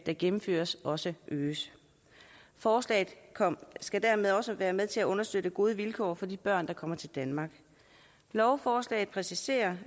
der gennemføres også øges forslaget skal dermed også være med til at understøtte gode vilkår for de børn der kommer til danmark lovforslaget præciserer